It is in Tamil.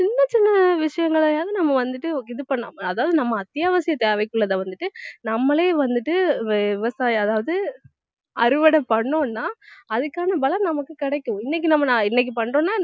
சின்னச் சின்ன விஷயங்களையாவது நம்ம வந்துட்டு இது பண்ணணும் அதாவது நம்ம அத்தியாவசிய தேவைக்குள்ளதை வந்துட்டு நம்மளே வந்துட்டு விவசாயம் அதாவது அறுவடை பண்ணோம்னா அதுக்கான பலன் நமக்கு கிடைக்கும் இன்னைக்கு நம்ம இன்னைக்கு பண்றோம்னா